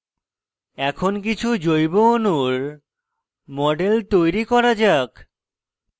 এখন কিছু সহজ জৈব অণুর models তৈরি করা যাক